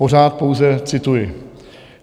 Pořád pouze cituji.